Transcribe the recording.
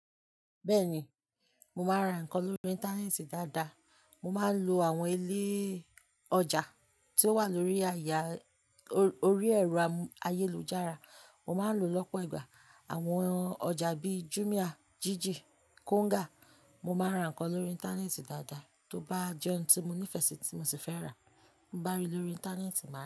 Bẹ́ ni, mo máa ń ra nǹkan lórí Íńtánẹ́ẹ̀tì dáadáa. Mo máa ń lo àwọn ilé ọjà tí ó wà lórí àyè, orí ẹ̀rọ ayélujára. Mo máa ń lo lọ́pọ̀ ìgbà àwọn ọjà bí i Jumia, Jiji, Konga. Mo máa ń ra nǹkan lórí Íńtánẹ́ẹ̀tì dáadáa. Tóbá jẹ́ ohun tí mo nífẹ̀ẹ́ sí tí mo sì fẹ́ rà, ń bá rí i lórí Íńtánẹ́ẹ̀tì, màá rà.